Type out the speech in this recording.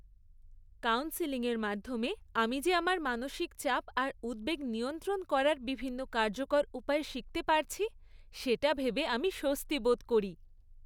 Counselling এর মাধ্যমে আমি যে আমার মানসিক চাপ আর উদ্বেগ নিয়ন্ত্রণ করার বিভিন্ন কার্যকর উপায় শিখতে পারছি, সেটা ভেবে আমি স্বস্তি বোধ করি।